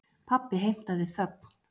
Pabbi heimtaði þögn.